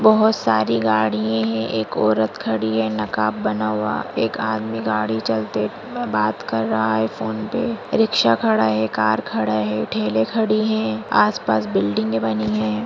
बहुत सारी गाडिये हैं एक औरत खड़ी है नकाब बना हुआ एक आदमी गाड़ी चलते बात कर रहा है फ़ोन पे रिक्शा खड़ा है कार खड़ा है ठेले खड़ी है आस-पास बिल्डिंगे बनी है।